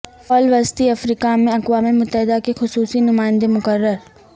فال وسطی افریقہ میں اقوام متحدہ کے خصوصی نمائندہ مقرر